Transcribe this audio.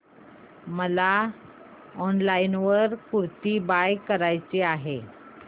मला online kurti buy करायची आहे